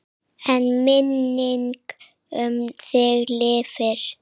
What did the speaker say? En minning um þig lifir.